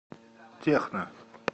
техно